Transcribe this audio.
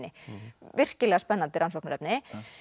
virkilega spennandi rannsóknarefni